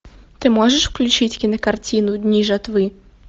ты можешь включить кинокартину дни жатвы